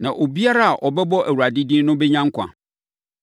Na obiara a ɔbɛbɔ Awurade din no bɛnya nkwa.’